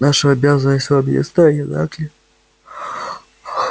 наша обязанность вам ясна не так ли